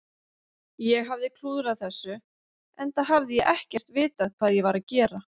Ég hafði klúðrað þessu, enda hafði ég ekkert vitað hvað ég var að gera.